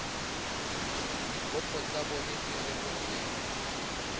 dikopo tsa bona di rebotsweng